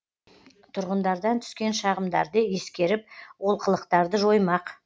тұрғындардан түскен шағымдарды ескеріп олқылықтарды жоймақ